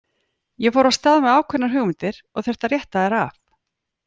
Ég fór af stað með ákveðnar hugmyndir og þurfti að rétta þær af.